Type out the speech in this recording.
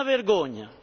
È una vergogna!